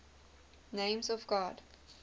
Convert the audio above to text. names of god